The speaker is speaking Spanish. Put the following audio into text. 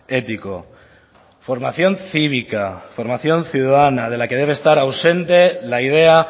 ético formación cívica formación ciudadana de la que debe estar ausente la idea